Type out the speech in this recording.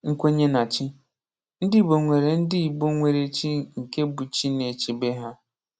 Nkwenye na chi: Ndị Igbo nwere Ndị Igbo nwere chi nke bụ chi na-echebe ha.